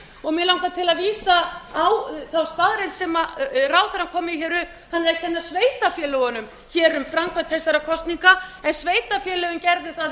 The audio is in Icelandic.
mig langar til að vísa á þá staðreynd sem ráðherrann kom með hann er að kenna sveitarfélögunum um framkvæmd þessara kosninga en sveitarfélögin